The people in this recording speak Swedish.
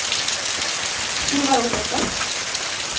Ivar Olovsson